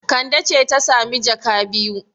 Kande ce ta sami jaka biyu.